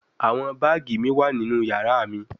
Awọn baagi mi wa ninu yara mi